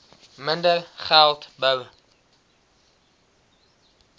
minder geld bou